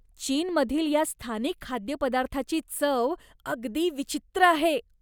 चीनमधील या स्थानिक खाद्यपदार्थाची चव अगदी विचित्र आहे.